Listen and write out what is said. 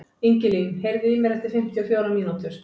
Ingilín, heyrðu í mér eftir fimmtíu og fjórar mínútur.